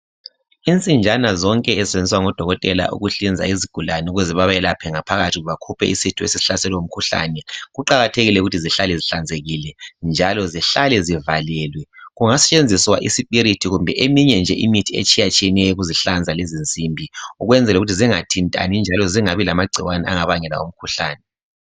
Insinjana zonke ezisentshenziswa ngodokotela ukuhlinza izigulane ukuze bemelaphe ngaphakathi bakuphe isitho esihlaselwe ngumkhuhlane kuqakathekile ukuthi zihlale zihlanzekile njalo zihlale zivalelwe kungasentshenziswa isipirithi kumbe eminye nje imithi etshiyeneyo ukuzihlanza lezi simbi ukwenzela ukuthi zingathintani njalo zingabi lamangcikwane angabangela umkhuhlane